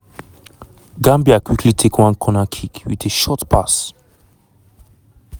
62 mins - gambia quickly take one corner kick wit a short pass.